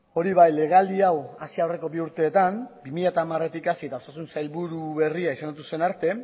hori bai legealdi hau hasi aurreko bi urteetan bi mila hamaretik hasi eta osasun sailburu berria izendatu zen arte